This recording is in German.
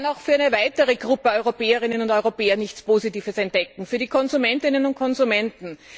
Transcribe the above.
Ich kann auch für eine weitere Gruppe von Europäerinnen und Europäern nichts Positives entdecken, für die Konsumentinnen und Konsumenten.